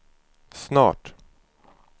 snart